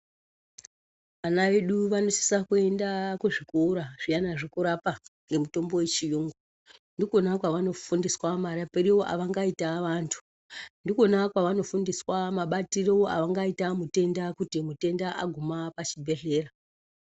Vana vedu vanosisa kuenda kuzvikora zviyana zvekurapa ngemutombo yechiyungu. Ndikona kwavanofundiswa marapiro avangaita vantu. Ndikona kwavanofundiswa mabatiro avangaita mutenda kuti mutenda aguma pachibhedhlera.